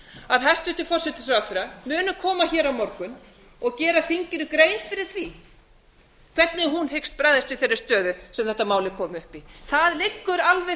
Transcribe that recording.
að hæstvirtur forsætisráðherra muni koma hér á morgun og gera þinginu grein fyrir því hvernig hún hyggst bregðast við þeirri stöðu sem þetta mál er komið upp í það liggur alveg